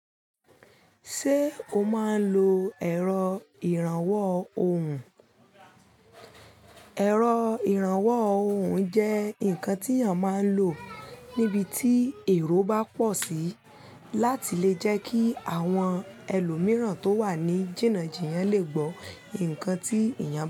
Ṣé o máa ń lo ẹ̀rọ ìrànwọ́ ohùn? Ẹ̀rọ ìrànwọ́ ohùn jẹ́ ǹkan tí èèyàn máa ń lò níbi tí èrò bá pọ̀ sí láti lè jẹ́ kí àwọn ẹlòmìíràn tó wà ní jìnnà jìyàn lè gbọ́ ǹkan tí èèyàn.